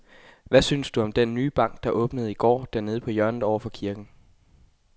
Hvad synes du om den nye bank, der åbnede i går dernede på hjørnet over for kirken?